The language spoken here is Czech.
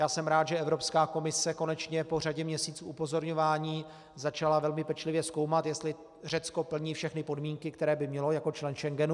Já jsem rád, že Evropská komise konečně po řadě měsíců upozorňování začala velmi pečlivě zkoumat, jestli Řecko plní všechny podmínky, které by mělo jako člen Schengenu.